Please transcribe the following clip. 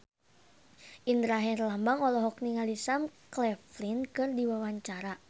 Indra Herlambang olohok ningali Sam Claflin keur diwawancara